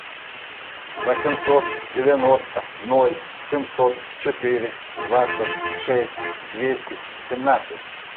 восемьсот девяносто ноль семьсот четыре двадцать шесть двести семнадцать